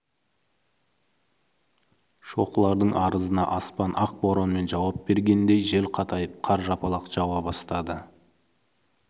шоқылардың арызына аспан ақ боранмен жауап бергендей жел қатайып қар жапалақтап жауа бастады